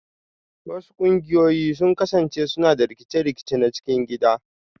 Wasu ƙungiyoyi sun kasance suna da rikice-rikice na cikin gida